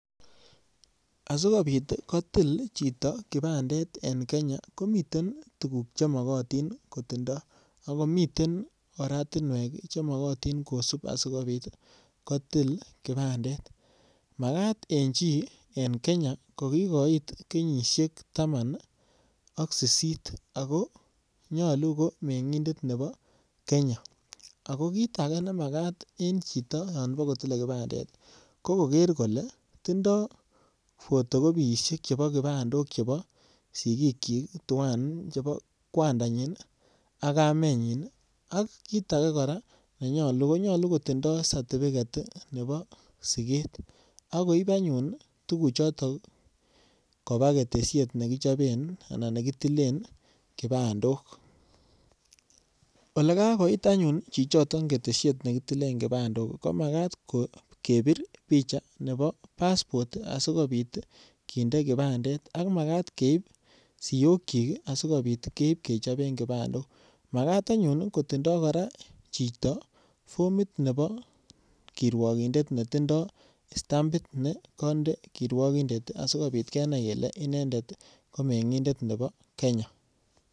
Asikopit kotil chito kibandet en Kenya komii tuguk che mokotin ko tindo ako miten oratinwek che mokotin kosip asikopit kotil kibandet makat en chi en Kenya ko kigoit kenyisiek taman ak sisit ako nyoluu ko meng'indet nebo Kenya ako kit age nemakat en chito yon bo kotile kibandet ko koger kole tindo photocopisiek chebo kibandik chebo sigikyik tuan chebo kwandanyin ak kamenyin ak kit agee koraa nenyoluu ko nyoluu kotindo certibiget nebo siget akoib anyun tugu choton kobaa ketesiet nebo kichoben anan nekitilen kibandok. Ole kakoit anyun chi choton ketesiet nekitilen kibandok ii ko makat ko kebir picha nebo passport asikopit kinde kibandet ako makat keib siyokyik ii asikopit keib kechoben kibandok makat anyun koraa kotindo chito formit nebo kirwogindet ne tindo stampit ne konde kirwogindet ii asi kenai kelee inendet ko meng'indet nebo Kenya.